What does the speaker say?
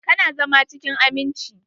Ka na zama cikin aminci?